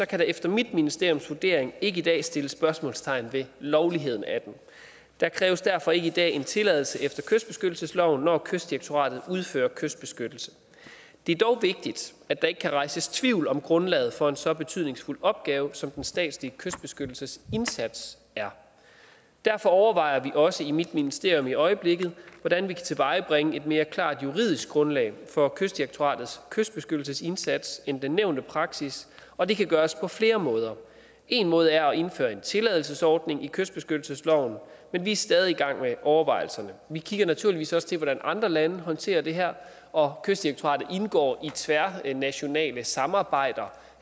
kan der efter mit ministeriums vurdering ikke i dag sættes spørgsmålstegn ved lovligheden af den der kræves derfor ikke i dag en tilladelse efter kystbeskyttelsesloven når kystdirektoratet udfører kystbeskyttelse det er dog vigtigt at der ikke kan rejses tvivl om grundlaget for en så betydningsfuld opgave som den statslige kystbeskyttelsesindsats er derfor overvejer vi også i mit ministerium i øjeblikket hvordan vi kan tilvejebringe et mere klart juridisk grundlag for kystdirektoratets kystbeskyttelsesindsats end den nævnte praksis og det kan gøres på flere måder en måde er at indføre en tilladelsesordning i kystbeskyttelsesloven men vi er stadig væk i gang med overvejelserne vi kigger naturligvis også på hvordan andre lande håndterer det her og kystdirektoratet indgår i tværnationale samarbejder